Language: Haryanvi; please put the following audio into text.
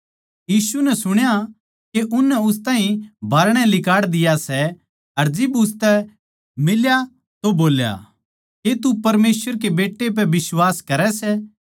यीशु नै सुण्या के उननै उस ताहीं बाहरणै लिकाड़ दिया सै अर जिब उसतै मिल्या तो बोल्या के तू परमेसवर कै बेट्टै पै बिश्वास करै सै